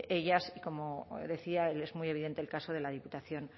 ellas como decía es muy evidente el caso de la diputación